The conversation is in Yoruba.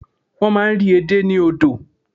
Wọ́n máa n rí edé ní odò